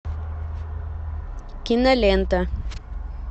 кинолента